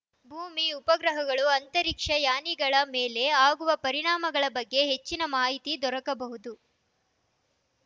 ಭೂಮಿ ಉಪಗ್ರಹಗಳು ಅಂತರಿಕ್ಷ ಯಾನಿಗಳ ಮೇಲೆ ಆಗುವ ಪರಿಣಾಮಗಳ ಬಗ್ಗೆ ಹೆಚ್ಚಿನ ಮಾಹಿತಿ ದೊರಕಬಹುದು